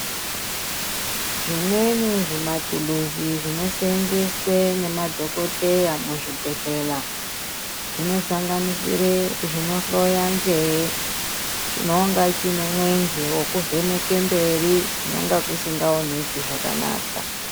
Zvimweni zvimatuluzi zvinoseenzeswe nemadhokodheya muzvibhedhlera zvonosanganisire zvinohloya nzeye chinonga chiine mwenje wekuvheneka mberi kunonga kusikaoneki zvakanaka .